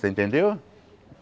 Você entendeu?